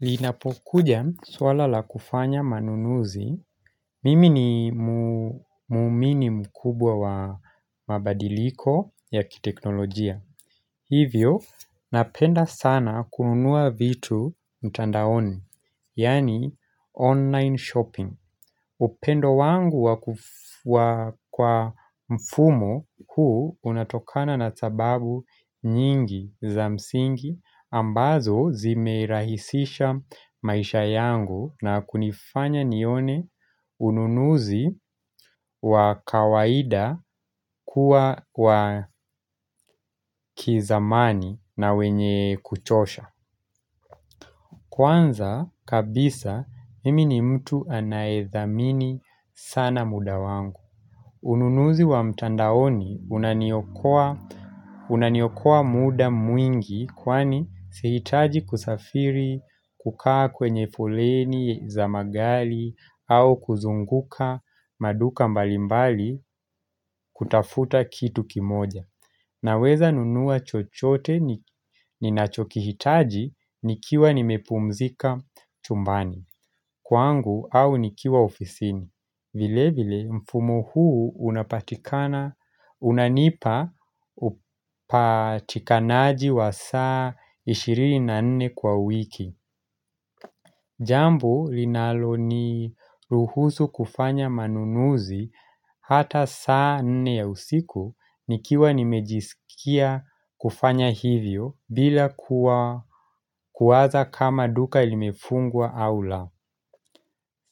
Linapokuja suala la kufanya manunuzi Mimi ni mu muumini mkubwa wa mabadiliko ya kiteknolojia Hivyo napenda sana kununua vitu mtandaoni Yani online shopping upendo wangu wa kuf wa kwa mfumo huu unatokana na sababu nyingi za msingi ambazo zimerahisisha maisha yangu na kunifanya nione ununuzi wa kawaida kuwa wa kizamani na wenye kuchosha Kwanza kabisa mimi ni mtu anaedhamini sana muda wangu Ununuzi wa mtandaoni unaniokoa unaniokoa muda mwingi kwani sihitaji kusafiri kukaa kwenye foleni za magali au kuzunguka maduka mbalimbali kutafuta kitu kimoja. Na weza nunua chochote ni ninachokihitaji nikiwa nimepumzika chumbani kwangu au nikiwa ofisini. Vile vile mfumo huu unapatikana unanipa upatikanaji wa saa 24 kwa wiki Jambu linalo ni ruhusu kufanya manunuzi hata saa 4 ya usiku nikiwa nimejiskia kufanya hivyo bila kuwa kuwaza kama duka ilimefungwa au la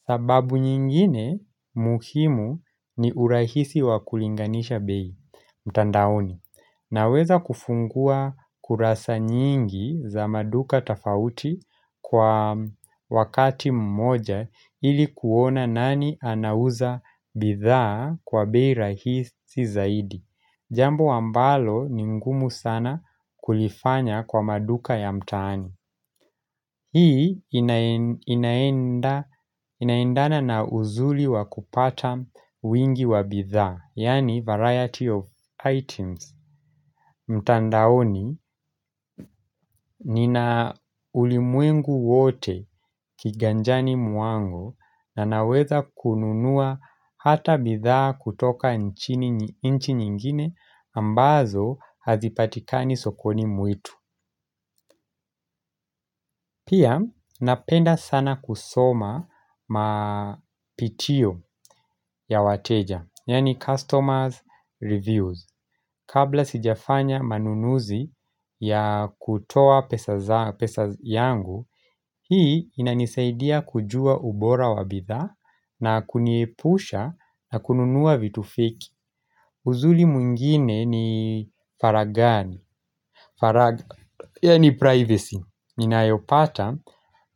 sababu nyingine muhimu ni urahisi wa kulinganisha bei, mtandaoni. Na weza kufungua kurasa nyingi za maduka tafauti kwa wakati mmoja ilikuona nani anauza bidhaa kwa bei rahisi zaidi. Jambo ambalo ni ngumu sana kulifanya kwa maduka ya mtaani Hii inaen inaenda inaendana na uzuli wa kupata wingi wa bidhaa Yani variety of items mtandaoni nina ulimwengu wote kiganjani mwangu na naweza kununua hata bidhaa kutoka nchini inchi nyingine ambazo hazipatika ni sokoni mwetu Pia napenda sana kusoma ma pitio ya wateja Yani customers reviews Kabla sijafanya manunuzi ya kutoa pesa za pesa yangu Hii inanisaidia kujua ubora wabidhaa na kuniepusha na kununua vitu feki Uzuli mwingine ni faragani Farag ya ni privacy Nina yopata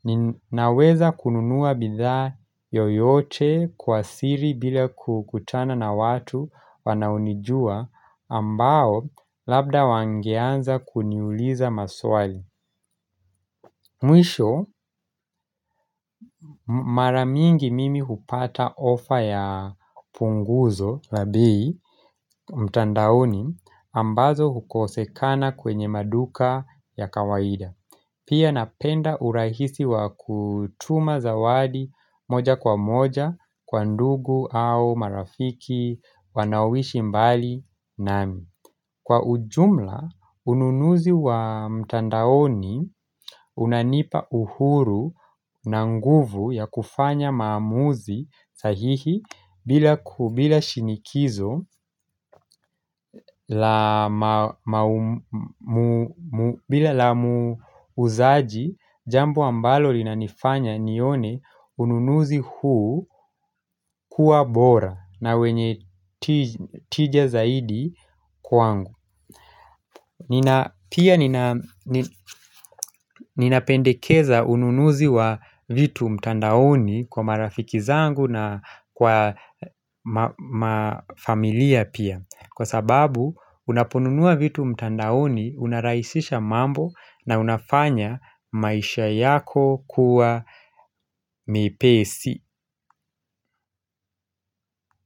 ninaweza kununua bidhaa yoyote kwa siri bila kukutana na watu wanaonijua ambao labda wangeanza kuniuliza maswali Mwisho maramingi mimi hupata offer ya punguzo labei mtandaoni ambazo hukosekana kwenye maduka ya kawaida Pia napenda urahisi wa kutuma zawadi moja kwa moja kwa ndugu au marafiki wanaoishi mbali nami. Kwa ujumla, ununuzi wa mtandaoni unanipa uhuru na nguvu ya kufanya maamuzi sahihi bila ku bila shinikizo bila la muuzaji jambo ambalo lina nifanya nione ununuzi huu kuwa bora na wenye tij tija zaidi kwangu. Pia nina ninapendekeza ununuzi wa vitu mtandaoni kwa marafiki zangu na kwa ma mafamilia pia Kwa sababu unaponunua vitu mtandaoni unaraisisha mambo na unafanya maisha yako kuwa mepesi.